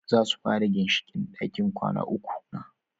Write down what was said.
Zasu fara ginshiƙin ɗakin kwana uku na